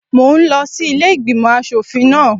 Mo ń lọ sí ilé ìgbìmò aṣòfin náà.